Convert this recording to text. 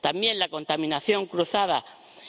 También la contaminación cruzada